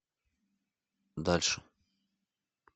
дальше